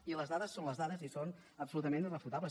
i les dades són les dades i són absolutament irrefutables